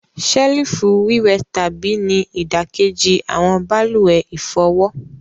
Selifu wíwẹtàbí ni idakeji awọn baluwe ifọwọ.